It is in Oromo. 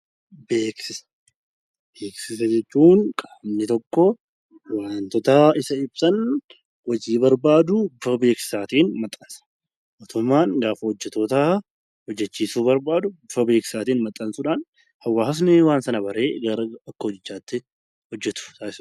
Beeksisa jechuun qaamni tokko wantoota isa ibsan hojii barbaaduu karaa beeksisaatiin mootummmaan hojjattoota qacaruu barbaadu bifa beeksisaatiin maxxansuudhaan hawaasni waan sana baree akka hojii ittiin hojjatu taasisa.